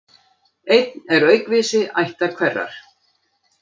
Einn er aukvisi ættar hverrar.